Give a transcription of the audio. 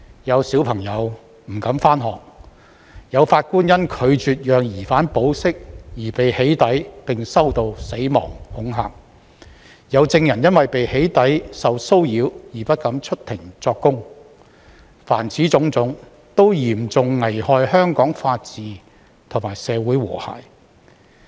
有小朋友不敢上學；有法官因拒絕讓疑犯保釋而被"起底"，並收到死亡恐嚇；有證人因為被"起底"受騷擾而不敢出庭作供；凡此種種，都嚴重危害香港法治與社會和諧。